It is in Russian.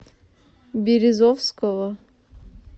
березовского